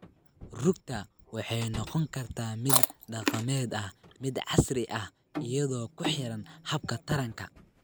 Rugta waxay noqon kartaa mid dhaqameed ama mid casri ah iyadoo ku xiran habka taranka.